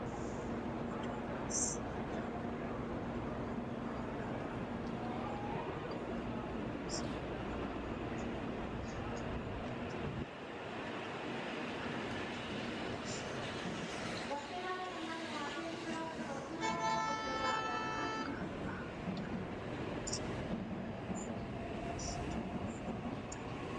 Kuri massitanni noo manna labbanno'ne? Qoleno loosinsa maati yitine heddinanni? Kuri afantino gashshaano yineemmoreeti qolteno dagate daafiranna ga'a daafira hasaawanni assitanni afantanno.